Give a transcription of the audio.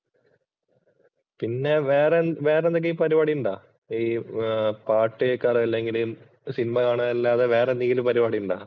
പിന്നെ വേറെ വേറെന്തെങ്കിലും പരിപാടി ഉണ്ടോ ഈ പാട്ട് കേൾക്കാറ് അല്ലെങ്കില് സിനിമ കാണുക അല്ലാതെ വേറെ എന്തെങ്കിലും പരിപാടി ഉണ്ടോ?